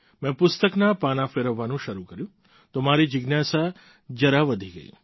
મેં પુસ્તકના પાનાં ફેરવવાનું શરૂ કર્યું તો મારી જિજ્ઞાસા જરા વધી ગઈ